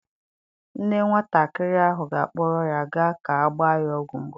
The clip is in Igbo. Nne nwatakịrị ahụ ga-akpọrọ ya gaa ka a gbaa ya ọgwụ mgbochi.